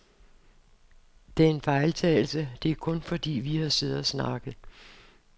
Det er en fejltagelse, det er kun, fordi vi har siddet og snakket.